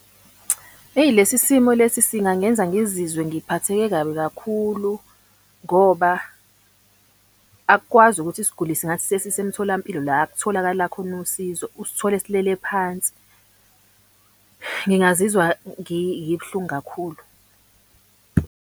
Eyi, lesi simo lesi singangenza ngizizwe ngiphatheke kabi kakhulu ngoba akukwazi ukuthi isiguli singathi sesisemtholampilo la ekutholakala khona usizo usithole silele phansi. Ngingazizwa ngibuhlungu kakhulu.